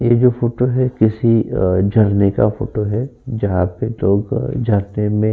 ये जो फोटो है किसी अ झरने का फोटो है जहाँ पे लोग झरने में --